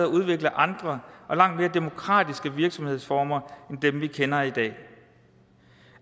at udvikle andre og langt mere demokratiske virksomhedsformer end dem vi kender i dag